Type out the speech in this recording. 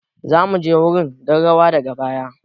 Za mu je wurin don rawa daga baya.